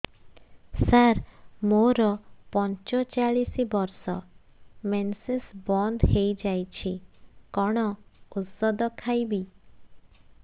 ସାର ମୋର ପଞ୍ଚଚାଳିଶି ବର୍ଷ ମେନ୍ସେସ ବନ୍ଦ ହେଇଯାଇଛି କଣ ଓଷଦ ଖାଇବି